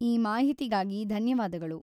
ಈ ಮಾಹಿತಿಗಾಗಿ ಧನ್ಯವಾದಗಳು.